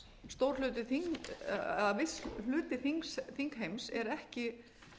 stór hluti eða viss hluti þingheims er ekki